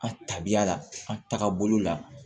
An tabiya la an tagabolo la